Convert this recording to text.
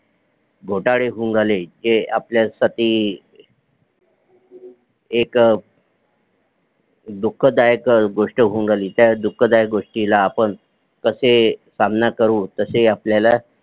घोटाळे होऊन राहिले ते आपल्या साठी एक दुःख दायक गोष्ट होऊन राहिली त्या दुःख दायक गोष्टीला आपण कशे सामना करू तसे आपल्याला